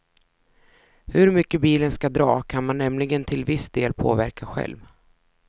Hur mycket bilen ska dra kan man nämligen till viss del påverka själv.